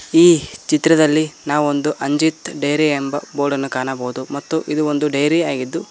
ಈ ಚಿತ್ರದಲ್ಲಿ ನಾವು ಒಂದು ಅಂಜಿತ್ ಡೈರಿ ಎಂಬ ಬೋರ್ಡ ನ್ನು ಕಾಣಬಹುದು ಮತ್ತು ಇದು ಒಂದು ಡೈರಿ ಆಗಿದ್ದು --